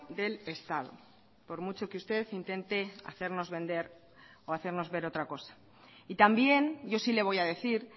del estado por mucho que usted intente hacernos vender o hacernos ver otra cosa y también yo sí le voy a decir